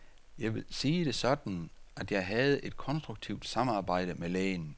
Jeg vil sige det sådan, at jeg havde et konstruktivt samarbejde med lægen.